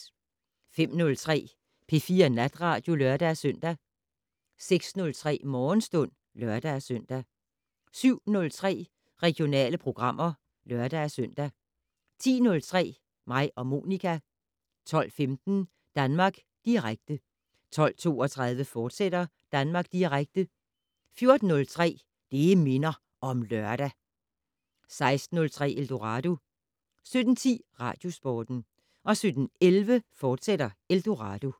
05:03: P4 Natradio (lør-søn) 06:03: Morgenstund (lør-søn) 07:03: Regionale programmer (lør-søn) 10:03: Mig og Monica 12:15: Danmark Direkte 12:32: Danmark Direkte, fortsat 14:03: Det' Minder om Lørdag 16:03: Eldorado 17:10: Radiosporten 17:11: Eldorado, fortsat